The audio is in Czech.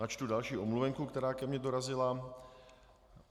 Načtu další omluvenku, která ke mně dorazila.